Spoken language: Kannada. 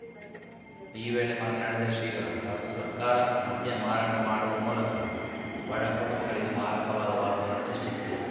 ಈ ವೇಳೆ ಮಾತನಾಡಿದ ಶ್ರೀಗಳು ಕ ಸರ್ಕಾರ ಮದ್ಯ ಮಾರಾಟ ಮಾಡುವ ಮೂಲಕ ಬಡಕುಟುಂಬಗಳಿಗೆ ಮಾರಕವಾದ ವಾತಾವರಣ ಸೃಷ್ಟಿಸಿದೆ